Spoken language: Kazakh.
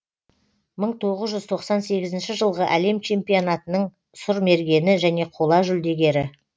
мың тоғыз жүз тоқсан сегізінші жылғы әлем чемпионатының сұрмергені және қола жүлдегері